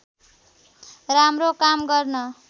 राम्रो काम गर्न